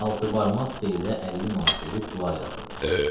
Altıbarmaq Seyyidə 50 manat verib dua yazdırmışdı.